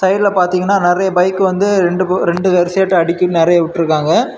இதுல பாத்திங்கன நெறைய ஃபக் வந்து ரெண்டு வரிசையா அடுகிட்டு நெறைய விட்டுருக்காங்க.